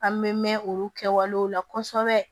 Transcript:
An bɛ mɛn olu kɛwalew la kosɛbɛ